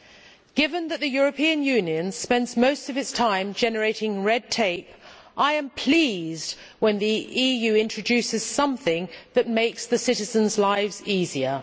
Given that the European Union spends most of its time generating red tape, I am pleased when the EU introduces something that makes citizens' lives easier.